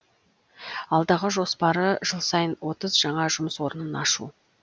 алдағы жоспары жыл сайын отыз жаңа жұмыс орнын ашу